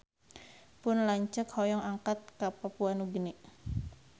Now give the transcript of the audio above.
Pun lanceuk hoyong angkat ka Papua Nugini